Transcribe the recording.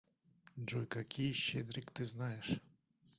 джой какие щедрик ты знаешь